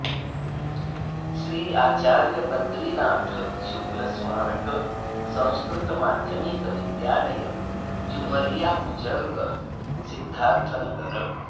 श्री आचार्य बद्रीनाथ शुक्ल स्मारक संस्कृत माध्यमिक विद्यालय जुमरिया बुजुर्ग सिद्धार्थनगर